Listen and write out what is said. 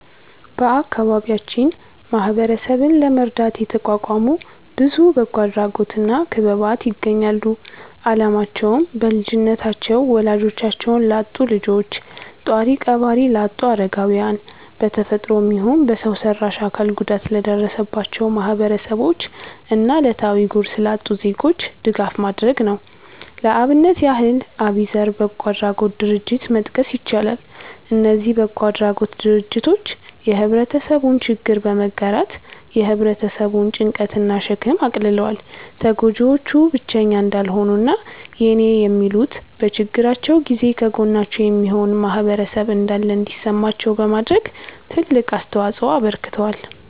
በአከባቢያችን ማህበረሰብን ለመርዳት የተቋቋሙ ብዙ በጎ አድራጎት እና ክበባት ይገኛሉ። አላማቸውም: በልጅነታቸው ወላጆቻቸውን ላጡ ልጆች፣ ጧሪ ቀባሪ ላጡ አረጋውያን፣ በ ተፈጥሮም ይሁን በሰው ሰራሽ አካል ጉዳት ለደረሰባቸው ማህበረሰቦች እና እለታዊ ጉርስ ላጡ ዜጎች ድጋፍ ማድረግ ነው። ለአብነት ያህል አቢዘር በጎ አድራጎት ድርጀትን መጥቀስ ይቻላል። እነዚ በጎ አድራጎት ድርጅቶች የህብረተሰቡን ችግር በመጋራት የ ህብረተሰቡን ጭንቀት እና ሸክም አቅልለዋል። ተጎጂዎቹ ብቸኛ እንዳልሆኑ እና የኔ የሚሉት፤ በችግራቸው ጊዜ ከጎናቸው የሚሆን ማህበረሰብ እንዳለ እንዲሰማቸው በማድረግ ትልቅ አስተዋጽኦ አበርክተዋል።